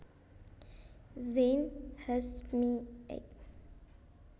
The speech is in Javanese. Zein Hasjmy Ec